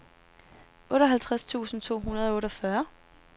otteoghalvtreds tusind to hundrede og otteogfyrre